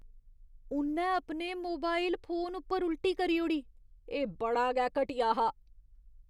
उ'न्नै अपने mobile phone पर उल्टी करी ओड़ी। एह् बड़ा गै घटिया हा।